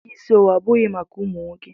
Ike isi owu abụghị maka ụmụ nwoke.